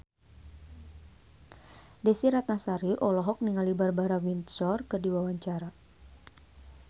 Desy Ratnasari olohok ningali Barbara Windsor keur diwawancara